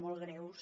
molt greus